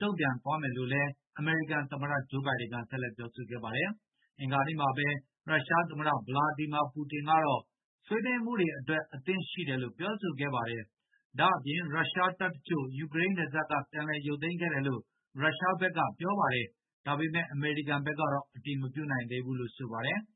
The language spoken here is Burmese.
တုံ့ပြန်သွားမယ်လို့ အမေရိကန်သမ္မတ ဂျိုးဘိုင်ဒင် က ဆက်လက်ပြောဆိုခဲ့ပါတယ်။ အင်္ဂါနေ့ကလည်း ရုရှားသမ္မတ ဗလာဒီမာပူတင် က ဆွေးနွေးမှုတွေအတွက် အသင့်ရှိတယ်လို့ ပြောဆိုခဲ့ပါတယ်။ ဒါ့အပြင် ရုရှားတပ်တချို့ ယူကရိန်းနယ်စပ် က ပြန်လည်ရုပ်သိမ်းခဲ့တယ်လို့ ရုရှားဘက်ကပြောပါတယ်။ ဒါပေမယ့် အမေရိကန်ကတော့ အတည်မပြုနိုင်သေးဘူးလို့ဘဲ ဆိုပါတယ်။